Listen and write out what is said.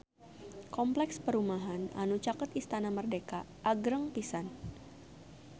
Kompleks perumahan anu caket Istana Merdeka agreng pisan